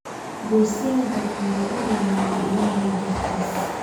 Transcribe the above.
Goosyall badan baa u roonaaday Ilaahay dartiis